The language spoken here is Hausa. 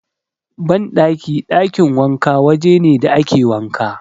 Banɗaki/ɗakin wanka waje ne da ake wanka.